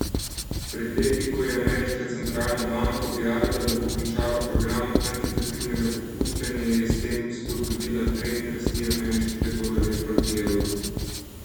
Pred leti, ko je ameriška centralna banka objavila, da bo končala program kvantitativnega popuščanja, je s tem spodbudila trend rasti ameriškega dolarja proti evru.